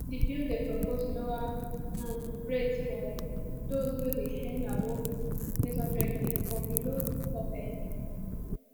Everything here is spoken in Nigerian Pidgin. di bill dey propose lower um rates for those wey dey earn above n800k but below di top earners